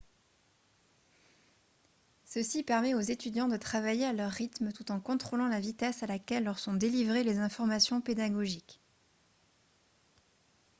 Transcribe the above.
ceci permet aux étudiants de travailler à leur rythme tout en contrôlant la vitesse à laquelle leurs sont délivrées les informations pédagogiques